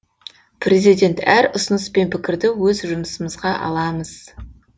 президент әр ұсыныс пен пікірді өз жұмысымызға аламыз